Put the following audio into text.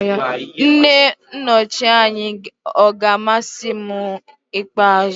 Nne nnochi anyị ọ̀ ga-amasị m n'ikpeazụ?